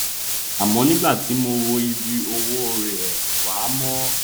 àmọ nígbà tí mo wo ibi ọwọ rẹ wà mo